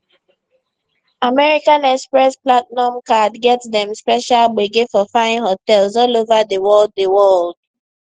american express platinum card get dem special gbege for fine hotels all over di world di world